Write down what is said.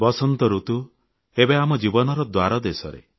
ବସନ୍ତ ଋତୁ ଏବେ ଆମ ଜୀବନର ଦ୍ୱାରଦେଶରେ